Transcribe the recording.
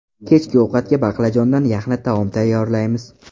Kechki ovqatga baqlajondan yaxna taom tayyorlaymiz.